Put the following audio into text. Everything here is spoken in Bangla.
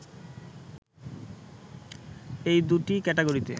এই দু’টি ক্যাটাগরিতে